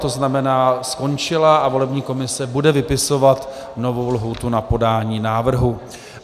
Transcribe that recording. To znamená, skončila a volební komise bude vypisovat novou lhůtu na podání návrhu.